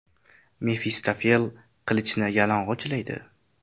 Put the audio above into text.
Mefistofel qilichini yalang‘ochlaydi.